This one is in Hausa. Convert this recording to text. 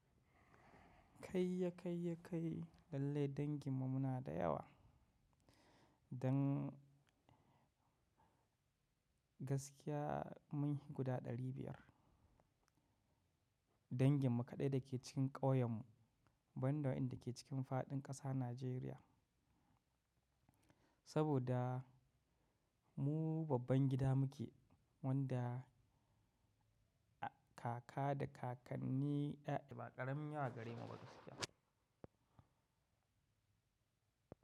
Kai ya kai ya kai lallai dangin mu muna da yawa, dan gaskiya mun yi guda ɗari biyar. Dangin mu kaɗai da ke cikin ƙauyen mu, ban da waɗanda ke cikin fadin ƙasa Nijeriya. Saboda mu babban gida muke wanda kaka da kakanni ɗaya, ba ƙaramin yawa gare mu ba gaskiya.